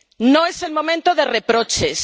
No es el momento de reproches.